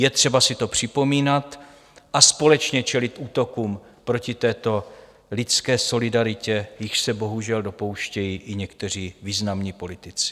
Je třeba si to připomínat a společně čelit útokům proti této lidské solidaritě, jichž se bohužel dopouštějí i někteří významní politici.